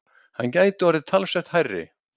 Hann gæti orðið talsvert hærri.